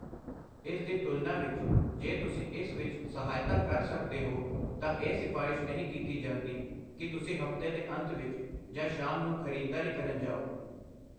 ਇਸ ਦੀ ਤੁਲਨਾ ਵਿੱਚ, ਜੇ ਤੁਸੀਂ ਇਸ ਵਿੱਚ ਸਹਾਇਤਾ ਕਰ ਸਕਦੇ ਹੋ ਤਾਂ ਇਹ ਸਿਫਾਰਸ਼ ਨਹੀਂ ਕੀਤੀ ਜਾਂਦੀ ਕੀ ਤੁਸੀਂ ਹਫ਼ਤੇ ਦੇ ਅੰਤ ਵਿੱਚ ਜਾਂ ਸ਼ਾਮ ਨੂੰ ਖ਼ਰੀਦਦਾਰੀ ਕਰਨ ਜਾਓ।